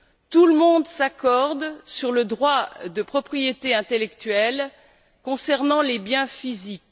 Tout le monde s'accorde sur le droit de propriété intellectuelle concernant les biens physiques.